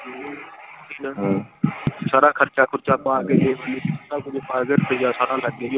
ਹਮ ਸਾਰਾ ਖਰਚਾ ਖੁਰਚਾ ਪਾ ਕੇ ਰੁਪਈਆ ਸਾਰਾ ਲੱਗੇ।